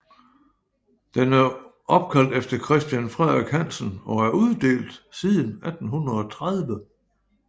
Den er opkaldt efter Christian Frederik Hansen og er uddelt siden 1830